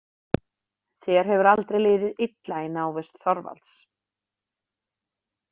Þér hefur aldrei liðið illa í návist Þorvalds.